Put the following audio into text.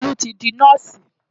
Tolú ti di nọ́ọ̀sì.